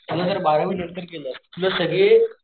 समजा जर बारावी नंतर केलं तुला सगळे,